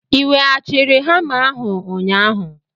I weghachiri hama ahụ ụnyaahụ?